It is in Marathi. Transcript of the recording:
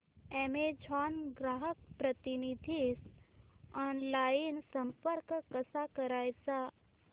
अॅमेझॉन ग्राहक प्रतिनिधीस ऑनलाइन संपर्क कसा करायचा